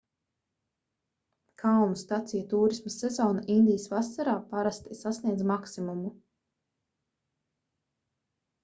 kalnu staciju tūrisma sezona indijas vasarā parasti sasniedz maksimumu